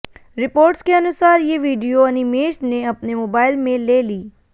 reports के अनुसार ये वीडियो अनिमेष ने अपने मोबाइल में ले ली